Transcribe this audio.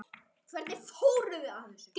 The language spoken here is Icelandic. Hvernig fóruð þið að þessu?